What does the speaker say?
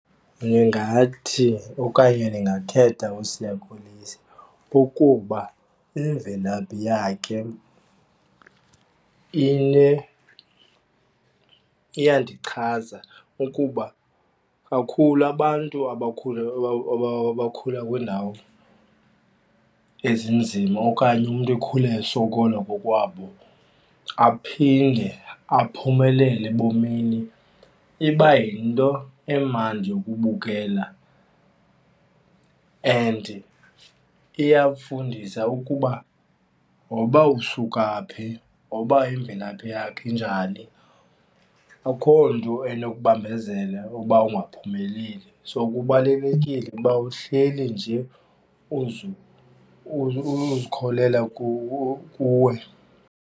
Ndingathi okanye ndingakhetha uSiya Kolisi kukuba imvelaphi yakhe iyandichaza. Ukuba kakhulu abantu abakhule abakhula kwiindawo ezinzima okanye umntu ekhule esokola kokwabo aphinde aphumelele ebomini ibayinto emnandi yokubukela and iyafundisa ukuba noba usukaphi, noba imvelaphi yakhe injani akhonto enokubambezela uba ukungaphumeleli. So kubalulekile uba uhleli nje uzikholelwa kuwe.